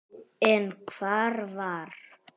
En hvar var